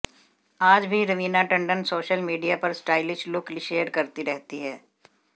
आज भी Raveena Tandon social media पर स्टाइलिश लुक शेयर करती रहती हैं